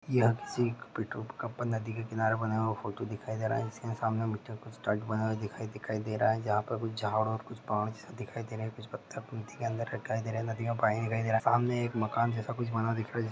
यहां किसी नदी का किनारे बनाया हुआ फोटो दिखाई दे रहा है उसके सामने मुझे कुछ बनाई दिखाई दे रह है जहा पर कुछ झाड और कुछ पहाड़ जेसा दिखाई दे रहा हैऔर कुछ पत्ते पंती के अंदर दिखाई दे रहे है नदी मे पानी दिखाई दे रहा है सामने मकान जैसा कुछ बना दिखाई--